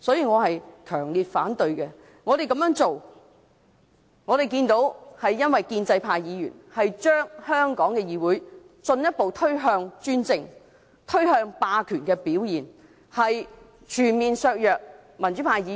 我們這樣做，是因為我們看到建制派議員把香港的議會進一步推向專政和霸權，全面削弱民主派議員的權力。